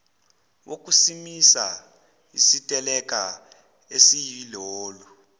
wokusimisa isiteleka esiyilolu